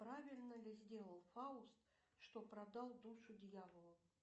правильно ли сделал фауст что продал душу дьяволу